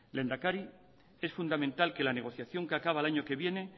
lehendakari es fundamental que la negociación que acaba el año que viene